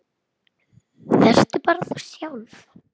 Vertu bara þú sjálf.